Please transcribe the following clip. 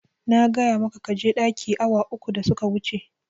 Na gaya maka kaje ɗaki awa uku da suka wuce